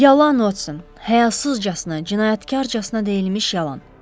Yalan Watson, həyasızcasına, cinayətkarcasına deyilmiş yalan.